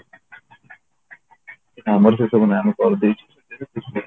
ଆମର ସେ ସବୁ ନାହିଁ ଆମେ କରିଦେଇଛୁ